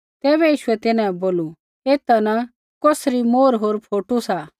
तैबै यीशुऐ तिन्हां बै बोलू एथा न कौसरी मोहर होर फोटू सा